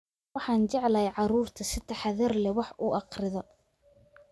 Waxaan jeclahay carruurta si taxadar leh wax u akhrida